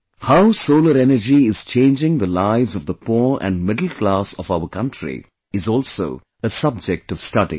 How solar energy is changing the lives of the poor and middle class of our country is also a subject of study